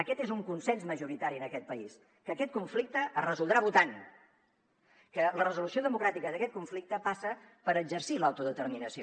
aquest és un consens majoritari en aquest país que aquest conflicte es resoldrà votant que la resolució democràtica d’aquest conflicte passa per exercir l’autodeterminació